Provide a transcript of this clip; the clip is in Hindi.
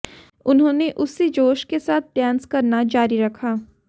उन्होंने उसी जोश के साथ डांस करना जारी रखा